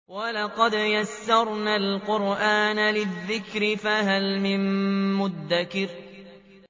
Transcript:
وَلَقَدْ يَسَّرْنَا الْقُرْآنَ لِلذِّكْرِ فَهَلْ مِن مُّدَّكِرٍ